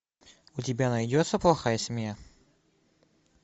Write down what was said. у тебя найдется плохая семья